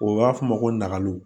O b'a f'o ma ko nakalo